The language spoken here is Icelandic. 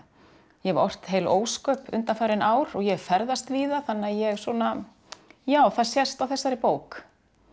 ég hef ort heil ósköp undanfarin ár og ég hef ferðast víða þannig að ég svona já það sést á þessari bók